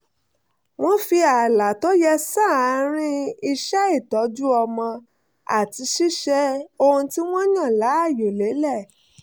wọ́n fi ààlà tó yẹ sáàárín iṣẹ́ ìtọ́jú ọmọ àti ṣíṣe ohun tí wọ́n yàn láàyò lélẹ̀